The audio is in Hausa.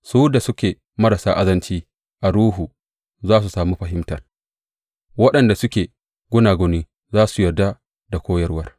Su da suke marasa azanci a ruhu za su sami fahimtar; waɗanda suke gunaguni za su yarda da koyarwa.